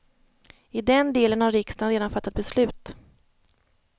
I den delen har riksdagen redan fattat beslut.